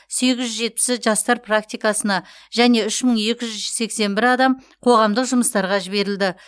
сегіз жүз жетпісі жастар практикасына және үш мың екі жүз сексен бір адам қоғамдық жұмыстарға жіберілді